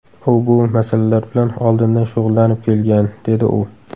U bu masalalar bilan oldindan shug‘ullanib kelgan”, dedi u.